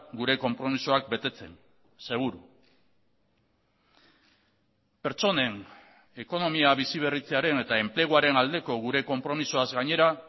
gure konpromisoak betetzen seguru pertsonen ekonomia biziberritzearen eta enpleguaren aldeko gure konpromisoaz gainera